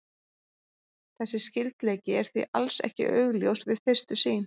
Þessi skyldleiki er því alls ekki augljós við fyrstu sýn.